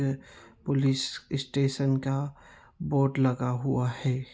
Police station का board लगा हुआ हैं।